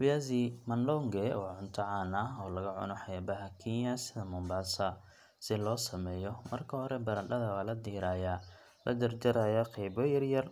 Viazi madonge waa cunto caan ah oo laga cuno xeebaha Kenya sida Mombasa. Si loo sameeyo, marka hore baradhada waa la diirayaa, la jarjarayaa qaybo yaryar,